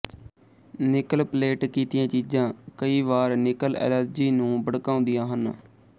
nickel plate ਕੀਤੀਆਂ ਚੀਜ਼ਾਂ ਕਈ ਵਾਰ ਨਿਕਲ ਐਲਰਜੀ ਨੂੰ ਭੜਕਾਉਂਦੀਆਂ ਹਨ